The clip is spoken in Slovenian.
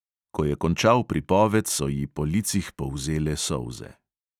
Ko je končal pripoved, so ji po licih polzele solze.